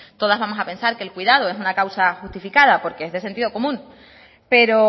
todas vamos a pensar que el cuidado es una causa justificada porque es de sentido común pero